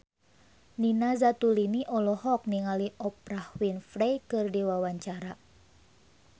Nina Zatulini olohok ningali Oprah Winfrey keur diwawancara